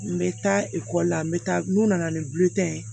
N bɛ taa ekɔli la n bɛ taa n'u nana ni ye